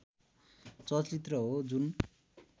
चलचित्र हो जुन